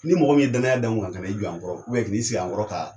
Ni mɔgɔ min ye danya da n kunna kan'i jɔ an kɔrɔ k'i ni i sigi an kɔrɔ ka.